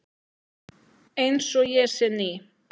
Einsog ég sé ný.